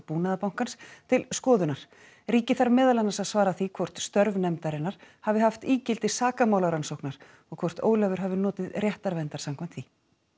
Búnaðarbankans til skoðunar ríkið þarf meðal annars að svara því hvort störf nefndarinnar hafi haft ígildi sakamálarannsóknar og hvort Ólafur hafi notið réttarverndar samkvæmt því